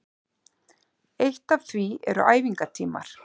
Eitt af því eru æfingatímar